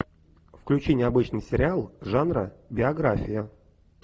включи необычный сериал жанра биография